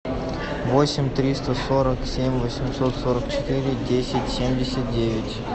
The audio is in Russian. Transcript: восемь триста сорок семь восемьсот сорок четыре десять семьдесят девять